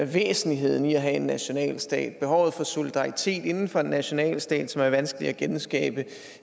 væsentligheden i at have en nationalstat og om behovet for solidaritet inden for en nationalstat som er vanskeligt at genskabe